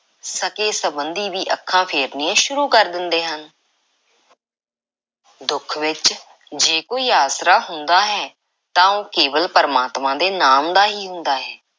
ਸਕੇ–ਸੰਬੰਧੀ ਵੀ ਅੱਖਾਂ ਫੇਰਨੀਆਂ ਸ਼ੁਰੂ ਕਰ ਦਿੰਦੇ ਹਨ। ਦੁੱਖ ਵਿੱਚ ਜੇ ਕੋਈ ਆਸਰਾ ਹੁੰਦਾ ਹੈ ਤਾਂ ਉਹ ਕੇਵਲ ‘ਪਰਮਾਤਮਾ ਦੇ ਨਾਮ’ ਦਾ ਹੀ ਹੁੰਦਾ ਹੈ।